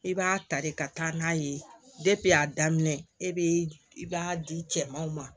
I b'a ta de ka taa n'a ye a daminɛ e be i b'a di cɛmanw ma